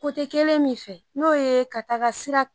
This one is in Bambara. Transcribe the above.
kelen min fɛ n'o ye ka taga sira